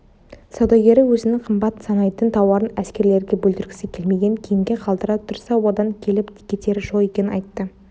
саудагері өзінің қымбат санайтын тауарын әскерлерге бүлдірткісі келмеген кейінге қалдыра тұрса одан келіп-кетері жоқ екенін айтты